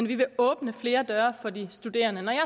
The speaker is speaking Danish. vi vil åbne flere døre for de studerende når jeg